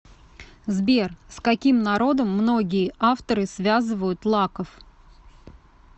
сбер с каким народом многие авторы связывают лаков